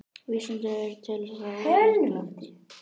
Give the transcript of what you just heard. vísindavefurinn telur það ólíklegt